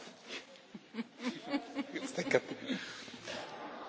Ringrazio l'amico e collega Khan per la domanda.